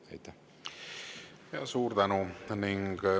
Me jätkame täpselt kell kaks algava Riigikogu täiskogu istungiga.